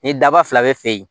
Ni daba fila bɛ feere